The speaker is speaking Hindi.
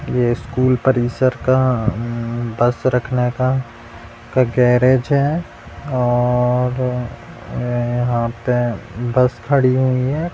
ये स्कूल परिसर का बस रखने का गेरेज है और यहां पे बस खड़ी हुई है ।